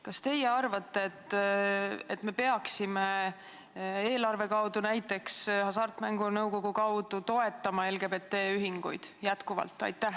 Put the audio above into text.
Kas te arvate, et me peaksime näiteks eelarve ja Hasartmängumaksu Nõukogu kaudu jätkuvalt toetama LGBT-ühinguid?